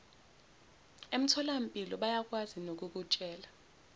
emtholampilo bayakwazi nokukutshela